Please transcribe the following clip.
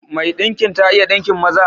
Mai ɗinkin ta iya ɗinkin maza?